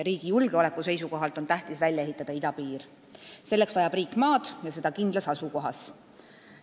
Riigi julgeoleku seisukohalt on tähtis välja ehitada idapiir, selleks vajab riik maad ja seda kindlas asukohas.